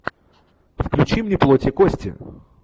включи мне плоть и кости